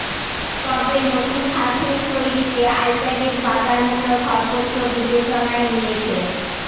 তবে নতুন সারফেস তৈরিতে আইপ্যাডের বাজারমূল্য সর্বোচ্চ বিবেচনায় নিয়েছে